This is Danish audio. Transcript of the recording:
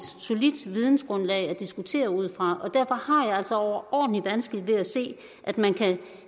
solidt vidensgrundlag at diskutere ud fra derfor har jeg altså overordentlig vanskeligt ved at se at man kan